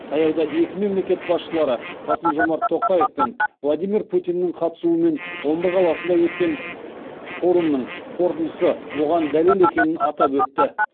таяуда екі мемлекет басшылары қасым жомарт тоқаев пен владимир путиннің қатысуымен омбы қаласында өткен өткен форумның қорытындысы оған дәлел екенін атап өтті